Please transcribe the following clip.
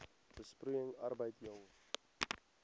besproeiing arbeid jong